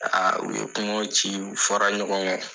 u ye kumaw ci o fɔra ɲɔgɔn kɔ.